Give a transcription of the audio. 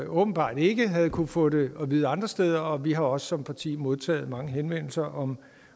åbenbart ikke havde kunnet få det at vide andre steder og vi har også som parti modtaget mange henvendelser om